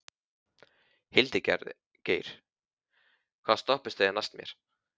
Hildigeir, hvaða stoppistöð er næst mér?